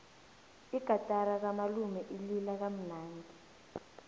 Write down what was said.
igatara kamalume ilila kamnandi